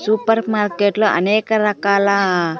Super మార్కెట్లో అనేక రకాల.